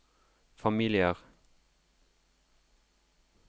familier